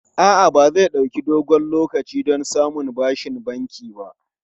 A'a, ba zai ɗauki dogon lokaci don samun bashin banki ba.